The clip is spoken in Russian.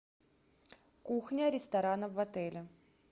кухня ресторана в отеле